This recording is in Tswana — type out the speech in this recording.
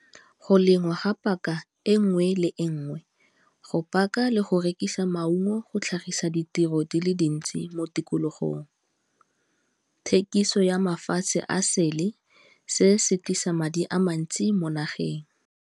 Go lengwa ga paka e nngwe le e nngwe, go paka le go rekisa maungo go tlhagisa ditiro di le dintsi mo tikologong, thekiso ya mafatshe a sele, se se tlisa madi a mantsi mo nageng.